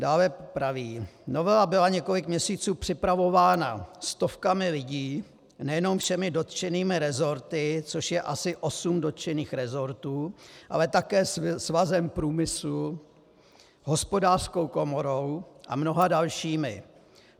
Dále praví: Novela byla několik měsíců připravována stovkami lidí, nejenom všemi dotčenými resorty, což je asi osm dotčených resortů, ale také Svazem průmyslu, Hospodářskou komorou a mnoha dalšími.